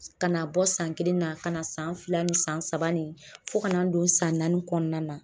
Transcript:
ka n'a bɔ san kelen na ka na san fila ni san saba ni fo ka na n don san naani kɔɔna na.